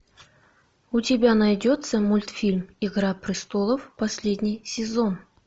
у тебя найдется мультфильм игра престолов последний сезон